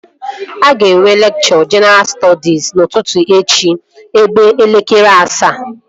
Aga enwe lekchọ jenaral stọdis n'ụtụtụ echi ebe elekere asaa